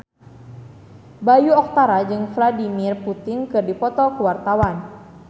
Bayu Octara jeung Vladimir Putin keur dipoto ku wartawan